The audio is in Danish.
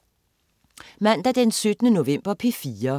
Mandag den 17. november - P4: